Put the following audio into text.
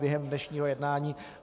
Během dnešního jednání